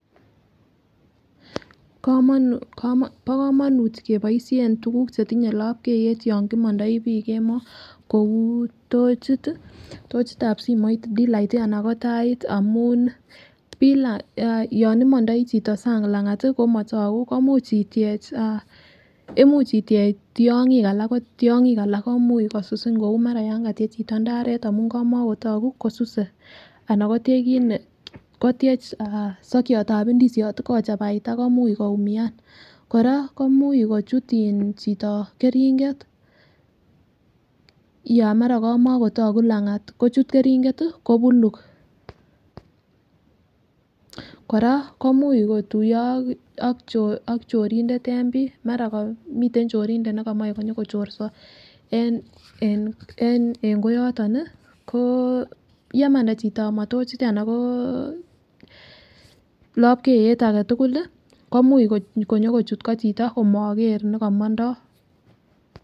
Bokomonnut keboishen tukukab chetinye lpkeiyet yon kimondoi bii kemoo kouu tochit, tochitab simoit, d-light alaa ko tait amun yon imondoi chito sang langat komotoku imuch itiech tiong'ik alak ko tiongik alak komuch kosusin kouu mara yon katiech chito indaret amun kamakotoku kosuse anan ko tiech kiit nee kotiech sokiotab indisiot kochabaita komuch koumian kora komuch kochut chito kering'et yon mara kamakotoku langat kochut kering'et kobuluk, kora komuch kotuyo ak chorindet en bii mara komiten chorindet nekomoe nyokochorso en koyoton ko yemanda chito amaa tochit ko lopkeiyet aketukul komuch konyokochut koo chito komoker nekomondo .